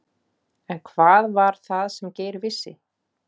En hvað var það sem Geir vissi?